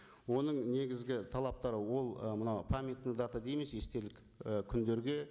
оның негізгі талаптары ол ы мынау памятный дата дейміз естелік і күндерге